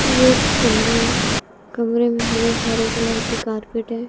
ये एक कमरा है कमरे में हरे हरे कलर की कारपेट है।